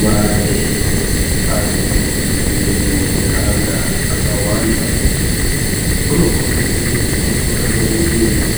Mai anowe neana akawanda unokhombidze kuite mutungamiriri